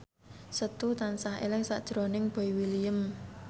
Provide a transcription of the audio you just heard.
Setu tansah eling sakjroning Boy William